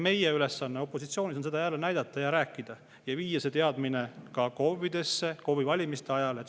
Meie ülesanne opositsioonis on seda jälle näidata, sellest rääkida ja viia see teadmine ka KOV-idesse KOV‑i valimiste ajaks.